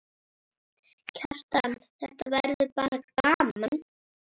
Kjartan: Þetta verður bara gaman?